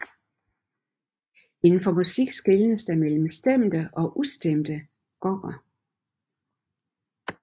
Inden for musik skelnes mellem stemte og ustemte gonger